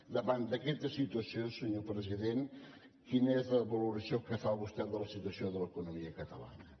davant d’aquesta situació senyor president quina és la valoració que fa vostè de la situació de l’economia catalana